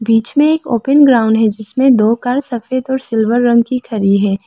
बीच में एक open ground है जिसमें दो कार सफेद और सिल्वर रंग की खड़ी है।